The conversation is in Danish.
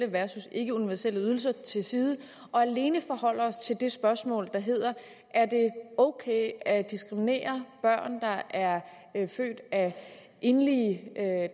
versus ikkeuniverselle ydelser til side og alene forholde os til det spørgsmål der hedder er det ok at diskriminere børn der er født af enlige